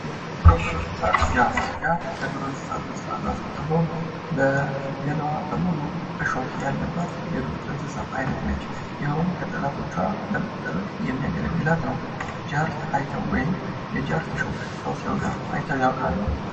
የቤት እና የዱር እንስሳት ፦ ጃርት፦ ጃርት ከዱር እንስሳት ውስጥ አንዷ ስትሆን በገሏ በሙሉ እሾህ ያለባት የዱር እንስሳ አይነት ነች ። ይኸውም ከጠላቶቿ ለመደበቅ የሚያገለግላት ነው ።ጃርት አይተው ወይም የጃርት እሾህ ሰው ሲዋጋ አይተው ያውቃሉ ?